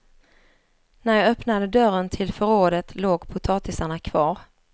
När jag öppnade dörren till förrådet låg potatisarna kvar.